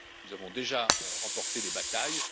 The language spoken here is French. Nous avons déjà remporté des batailles.